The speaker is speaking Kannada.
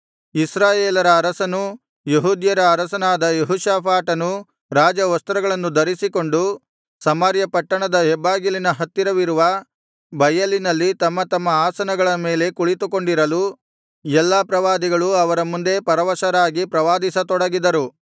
ಇಸ್ರಾಯೇಲರ ಅರಸನೂ ಯೆಹೂದ್ಯರ ಅರಸನಾದ ಯೆಹೋಷಾಫಾಟನೂ ರಾಜವಸ್ತ್ರಗಳನ್ನು ಧರಿಸಿಕೊಂಡು ಸಮಾರ್ಯ ಪಟ್ಟಣದ ಹೆಬ್ಬಾಗಿಲಿನ ಹತ್ತಿರವಿರುವ ಬಯಲಿನಲ್ಲಿ ತಮ್ಮ ತಮ್ಮ ಆಸನಗಳ ಮೇಲೆ ಕುಳಿತುಕೊಂಡಿರಲು ಎಲ್ಲಾ ಪ್ರವಾದಿಗಳು ಅವರ ಮುಂದೆ ಪರವಶರಾಗಿ ಪ್ರವಾದಿಸತೊಡಗಿದರು